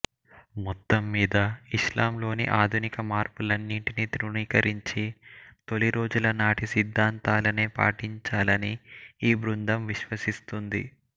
మొత్తం మీద ఇస్లాంలోని ఆధునిక మార్పులన్నింటిినీ తృణీకరించి తొలి రోజుల నాటి సిద్ధాంతాలనే పాటించాలని ఈ బృందం విశ్వసిస్తుందిి